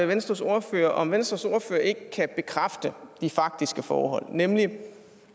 venstres ordfører om venstres ordfører ikke kan bekræfte de faktiske forhold nemlig